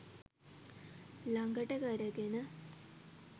ළඟට කරගෙන